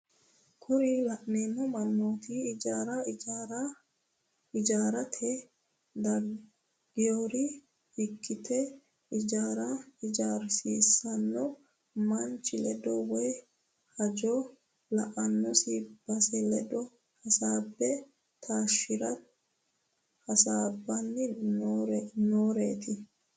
Kuri la'neemo manooti ijaara ijaarsitara dageyoore ikkite ijaara ijarsiisiranno manchi ledo woye hajo la"anonsa bissa ledo hasaabe taashitara hasaabbanni nooreeti.